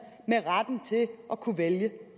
med retten til at kunne vælge